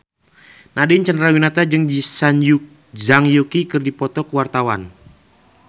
Nadine Chandrawinata jeung Zhang Yuqi keur dipoto ku wartawan